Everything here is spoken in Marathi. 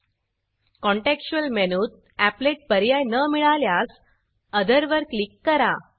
contextualकॉंटेक्सचुयल मेनूत एपलेट अपलेट पर्याय न मिळाल्यास ओथर अदर वर क्लिक करा